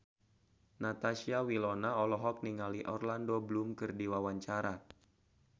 Natasha Wilona olohok ningali Orlando Bloom keur diwawancara